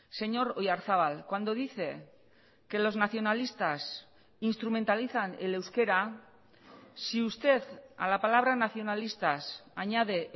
señor oyarzabal cuando dice que los nacionalistas instrumentalizan el euskera si usted a la palabra nacionalistas añade